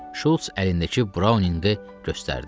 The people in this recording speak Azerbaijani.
Şults əlindəki brauninqi göstərdi.